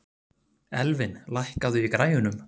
Elvin, lækkaðu í græjunum.